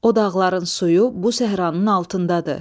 O dağların suyu bu səhranın altındadır.